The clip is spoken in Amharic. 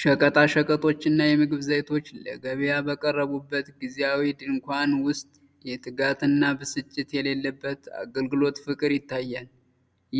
ሸቀጣ ሸቀጦች እና የምግብ ዘይት ለገበያ በቀረቡበት ጊዜያዊ ድንኳን ውስጥ የትጋት እና ብስጭት የሌለበት የአገልግሎት ፍቅር ይታያል፤